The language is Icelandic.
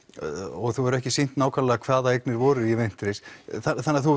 og þú hefur ekki sýnt nákvæmlega hvaða eignir voru í Wintris þannig að þú